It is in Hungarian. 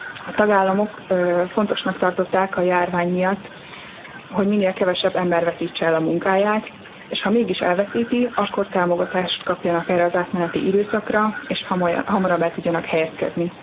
A tagállamok fontosnak tartották a járvány miatt, hogy minél kevesebb ember veszítse el a munkáját, és ha mégis elveszíti, akkor támogatást kapjon erre az átmeneti időszakra, és hamarabb el tudjon helyezkedni.